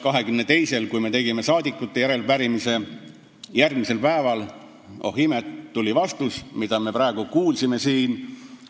22-ndal me tegime rahvasaadikute nimel järelepärimise ja oh imet, järgmisel päeval tuli vastus, mida me praegu ka siin kuulsime.